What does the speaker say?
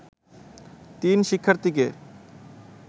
তিন শিক্ষার্থীকে